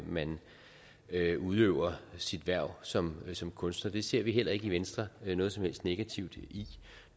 man udøver sit hverv som som kunstner det ser vi heller ikke i venstre noget som helst negativt i